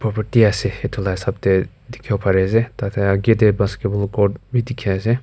asey etu la hisab deh dikhiwo pari asey tadeh ageh deh basketball court wi dikhi asey.